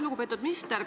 Lugupeetud minister!